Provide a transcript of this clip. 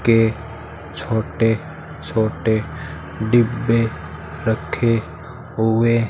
के छोटे छोटे डिब्बे रखे हुए --